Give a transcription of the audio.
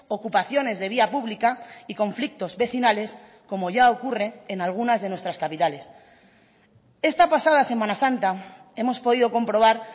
ocupaciones de vía pública y conflictos vecinales como ya ocurre en algunas de nuestras capitales esta pasada semana santa hemos podido comprobar